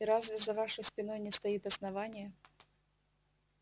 и разве за вашей спиной не стоит основание